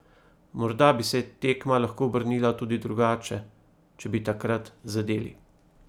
Morda bi se tekma lahko obrnila tudi drugače, če bi takrat zadeli.